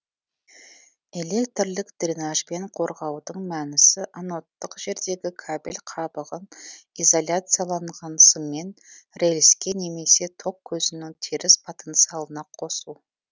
электрлік дренажбен қорғаудың мәнісі анодтық жердегі кабель қабығын изоляцияланған сыммен рельске немесе ток көзінің теріс потенциалына қосу